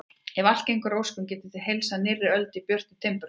Ef allt gengur að óskum getið þið heilsað nýrri öld í björtu timburhúsi.